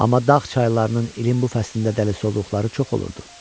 Amma dağ çaylarının ilin bu fəslində dəli olduqları çox olurdu.